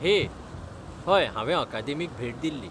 हे! हय, हांवें अकादेमीक भेट दिल्ली.